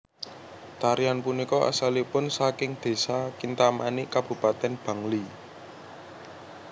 Tarian punika asalipun saking Desa Kintamani Kabupaten Bangli